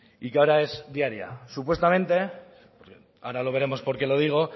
supuestamente ahora lo veremos por qué lo digo